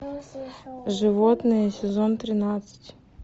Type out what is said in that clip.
животные сезон тринадцать